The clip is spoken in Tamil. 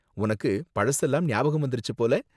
உனக்கு பழசெல்லாம் ஞாபகம் வந்திருச்சு போல.